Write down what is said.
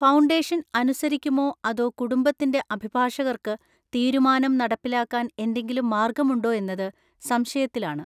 Foundation അനുസരിക്കുമോ അതോ കുടുംബത്തിന്റെ അഭിഭാഷകർക്ക് തീരുമാനം നടപ്പിലാക്കാൻ എന്തെങ്കിലും മാർഗമുണ്ടോ എന്നത് സംശയത്തിലാണ്.